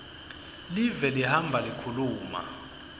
live lihamba likhuluma